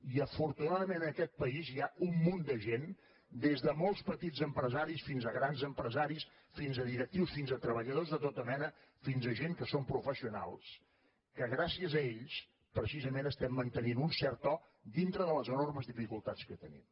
i afortunadament en aquest país hi ha un munt de gent des de molts petits empresaris fins a grans empresaris fins a directius fins a treballadors de tota mena fins a gent que són professionals que gràcies a ells precisament estem mantenint un cert to dintre de les enormes dificultats que tenim